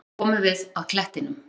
Loks komum við að klettinum.